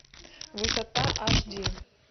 высота аш ди